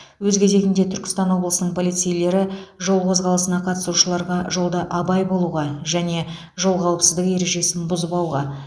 өз кезегінде түркістан облысының полицейлері жол қозғалысына қатысушыларға жолда абай болуға және жол қауіпсіздігі ережесін бұзбауға